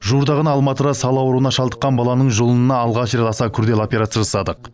жуырда ғана алматыда сал ауруына шалдыққан баланың жұлынына алғаш рет аса күрделі операция жасадық